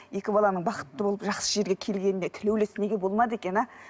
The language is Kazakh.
екі баланың бақытты болып жақсы жерге келгеніне тілеулес неге болмады екен а